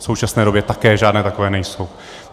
V současné době také žádné takové nejsou.